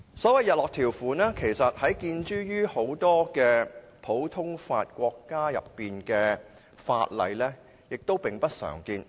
所謂日落條款，其實在很多普通法國家的法例中並不常見。